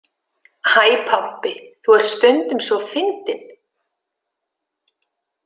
Æ, pabbi, þú ert stundum svo fyndinn!